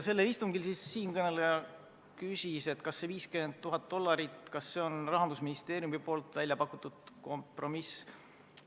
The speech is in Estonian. Siinkõneleja küsis, kas 50 000 dollarit on Rahandusministeeriumi pakutud kompromiss.